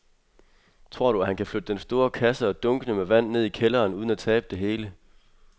Tror du, at han kan flytte den store kasse og dunkene med vand ned i kælderen uden at tabe det hele?